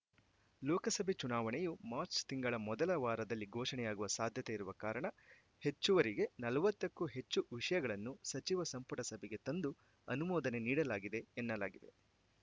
ಲೋಕಸಭೆ ಚುನಾವಣೆಯು ಮಾರ್ಚ್ ತಿಂಗಳ ಮೊದಲ ವಾರದಲ್ಲಿ ಘೋಷಣೆಯಾಗುವ ಸಾಧ್ಯತೆ ಇರುವ ಕಾರಣ ಹೆಚ್ಚುವರಿಗೆ ನಲವತ್ತಕ್ಕೂ ಹೆಚ್ಚು ವಿಷಯಗಳನ್ನು ಸಚಿವ ಸಂಪುಟ ಸಭೆಗೆ ತಂದು ಅನುಮೋದನೆ ನೀಡಲಾಗಿದೆ ಎನ್ನಲಾಗಿದೆ